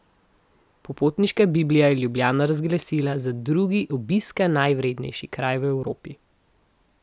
Popotniška biblija je Ljubljano razglasila za drugi obiska najvrednejši kraj v Evropi.